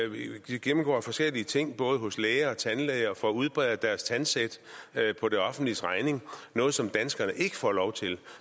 de gennemgår forskellige ting både hos læger og tandlæger og får udbedret deres tandsæt på det offentliges regning noget som danskerne ikke får lov til